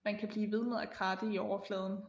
Man kan blive ved med at kratte i overfladen